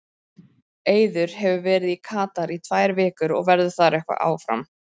Eiður hefur verið í Katar í tvær vikur og verður eitthvað áfram þar.